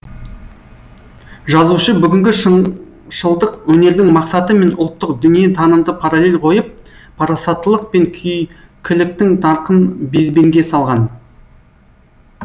жазушы бүгінгі шыңшылдық өнердің мақсаты мен ұлттық дүние танымды паралель қойып парасаттылық пен күйкіліктің нарқын безбенге салған